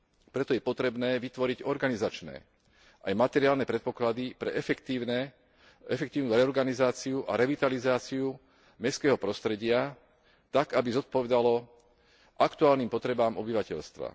Preto je potrebné vytvoriť organizačné aj materiálne predpoklady pre efektívnu reorganizáciu a revitalizáciu mestského prostredia tak, aby zodpovedalo aktuálnym potrebám obyvateľstva.